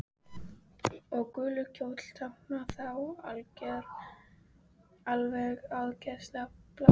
Og gulur kjóll táknar þá alveg áreiðanlega bláar buxur.